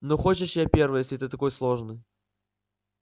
ну хочешь я первая если ты такой сложный